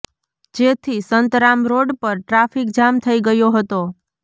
જેથી સંતરામ રોડ પર traffic jam થઇ ગયો હતો